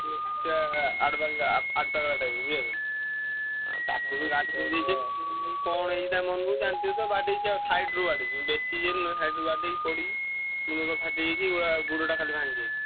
ସେ ଆଡପାଗଳା ଆଡପାଗଳା type ର ବୁଝିପାରୁଛନା? ଆଉ ତାକୁ ବି ଗାଡି ଦେଇଦେଇଛନ୍ତି। ସିଏ କଣ ହେଇଛି ତା ମନକୁ ଜାଣିଥିବ ତ ବାଡେଇଛି ଆଉ side ରୁ ବାଡ଼େଇଛି ବେଶୀ ଇଏ ନୁହଁ side ରୁ ବାଡ଼େଇକି ପଡି ମୁଣ୍ଡ ଫୁଣ୍ଡ ଫାଟିଯାଇଛି ଗୋଡ ଆ ଗୋଡ଼ଟା ଖାଲି ଭାଙ୍ଗିଯାଇଛି।